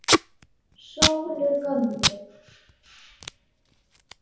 Sólu gömlu.